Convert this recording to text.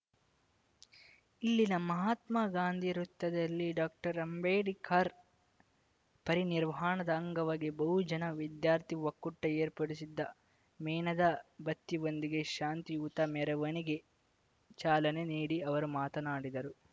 ಇಲ್ಲಿನ ಮಹಾತ್ಮಗಾಂಧಿ ವೃತ್ತದಲ್ಲಿ ಡಾಕ್ಟರ್ಅಂಬೇಡ್ಕರ್‌ ಪರಿನಿರ್ವಾಣದ ಅಂಗವಾಗಿ ಬಹುಜನ ವಿದ್ಯಾರ್ಥಿ ಒಕ್ಕೂಟ ಏರ್ಪಡಿಸಿದ್ದ ಮೇಣದ ಬತ್ತಿ ವೊಂದಿಗೆ ಶಾಂತಿಯುತ ಮೆರವಣಿಗೆ ಚಾಲನೆ ನೀಡಿ ಅವರು ಮಾತನಾಡಿದರು